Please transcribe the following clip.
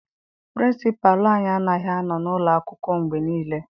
Pịrịnsịpalụ anyị anaghị anọ n'ụlọ akwụkwọ mgbe niile.